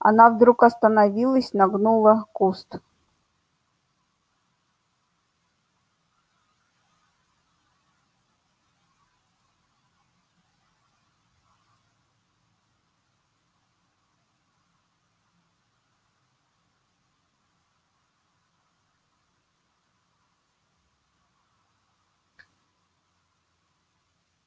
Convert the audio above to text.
она вдруг остановилась нагнула куст